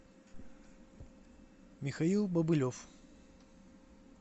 михаил бобылев